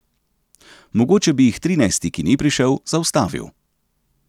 Mogoče bi jih trinajsti, ki ni prišel, zaustavil.